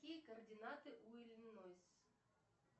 какие координаты у иллинойс